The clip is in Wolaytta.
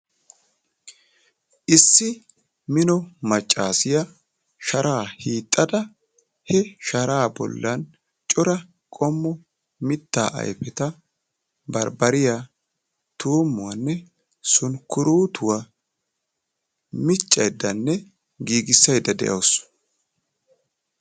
Issi mino maccasiya sharaa hiixada he sharaa bollan cora qommo miitta ayfetta barbariya, tumuwaane sunkkurutuwa miccaydane giigissayda deawusu.